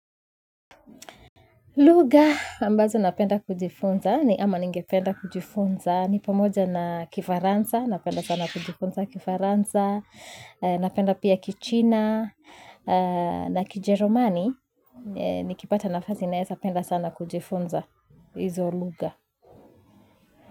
Lugha ambazo napenda kujifunza ni ama ningependa kujifunza ni pamoja na kifaransa napenda sana kujifunza kifaransa napenda pia kichina na kijerumani nikipata nafasi naeza penda sana kujifunza izo lugha.